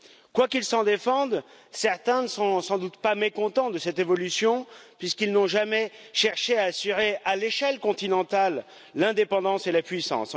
Quoiqu'ils s'en défendent, certains ne sont sans doute pas mécontents de cette évolution, puisqu'ils n'ont jamais cherché à assurer à l'échelle continentale, l'indépendance et la puissance.